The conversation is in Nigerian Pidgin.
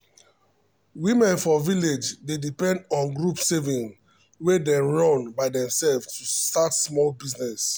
women for village dey depend on group saving wey dem run by themselves to start small business.